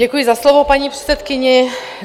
Děkuji za slovo paní předsedkyni.